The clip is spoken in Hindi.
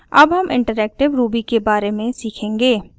अब हम interactive ruby के बारे में सीखेंगे